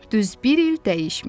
Düz bir il dəyişmir.